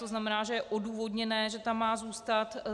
To znamená, že je odůvodněné, že tam má zůstat.